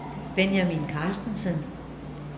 Benjamin Carstensen